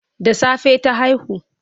Da safe ta haihu.